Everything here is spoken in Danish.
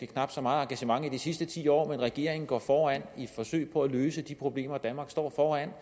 knap så meget engagement i de sidste ti år men regeringen går foran i forsøget på at løse de problemer danmark står